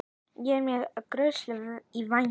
Er máske gosórói í vændum?